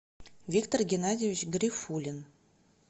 виктор геннадьевич гарифуллин